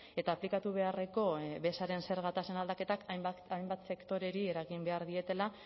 eta aplikatu beharreko bezaren zerga tasen aldaketak hainbat eta hainbat sektoreri eragin behar dietela